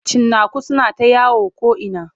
Cinnaku suna ta yawo ko'ina.